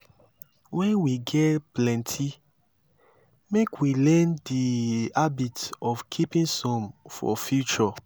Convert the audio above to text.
when we get plenty make we learn di habit of keeping some for future